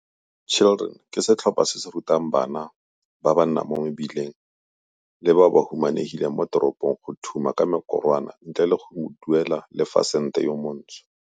Children ke setlhopha se se rutang bana ba ba nnang mo mebileng le bao ba humanegileng mo teropong go thuma ka mekorwana ntle le go duela le fa e le sente yo montsho.